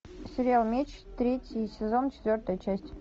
сериал меч третий сезон четвертая часть